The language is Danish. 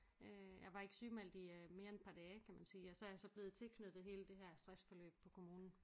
Øh jeg var ikke sygemeldt i øh mere end et par dage kan man sige og så er jeg så blevet tilknyttet hele det her stressforløb på kommunen